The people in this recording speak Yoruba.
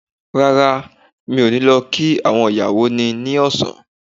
Rárá, mi ò ní lọ kí àwọn ìyàwó ni ní ọ̀sán